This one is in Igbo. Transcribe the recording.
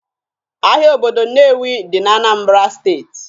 Ahịa obodo Nnewi dị na Anambra steeti